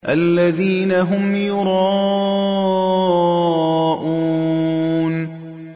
الَّذِينَ هُمْ يُرَاءُونَ